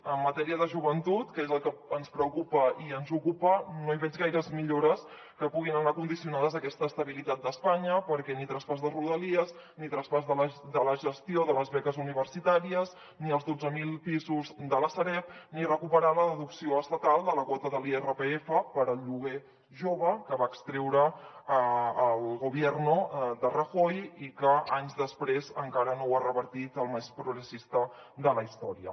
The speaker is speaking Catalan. en matèria de joventut que és el que ens preocupa i ens ocupa no hi veig gaires millores que puguin anar condicionades a aquesta estabilitat d’espanya perquè ni traspàs de rodalies ni traspàs de la gestió de les beques universitàries ni els dotze mil pisos de la sareb ni recuperar la deducció estatal de la quota de l’irpf per al lloguer jove que va extreure el gobierno de rajoy i que anys després encara no ho ha revertit el més progressista de la història